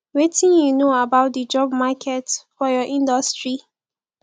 wetin you know about di job market for your industry